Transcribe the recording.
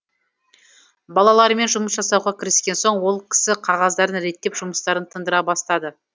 балалармен жұмыс жасауға кіріскен соң ол кісі қағаздарын реттеп жұмыстарын тындыра бастады